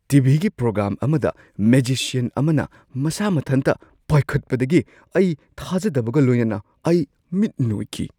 T. V. ꯒꯤ programme ꯑꯃꯗ magician ꯑꯃꯅ ꯃꯁꯥ ꯃꯊꯟꯇ ꯄꯥꯏꯈꯠꯄꯗꯒꯤ ꯑꯩ ꯊꯥꯖꯗꯕꯒ ꯂꯣꯏꯅꯅ ꯑꯩ ꯃꯤꯠ ꯅꯣꯏꯈꯤ ꯫